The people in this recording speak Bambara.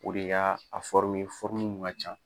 O de y'a a ye mun ŋa ca.